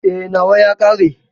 E, nawa ya ƙare.